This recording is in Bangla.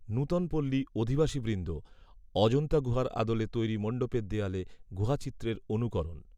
নূতন পল্লি অধিবাসীবৃন্দ, অজন্তা গুহার আদলে তৈরি মণ্ডপের দেওয়ালে গুহাচিত্রের অনুকরণ।